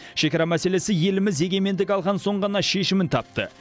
шекара мәселесі еліміз егемендік алған соң ғана шешімін тапты